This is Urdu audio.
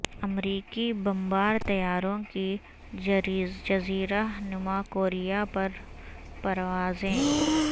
امریکی بمبار طیاروں کی جزیرہ نما کوریا پر پروازیں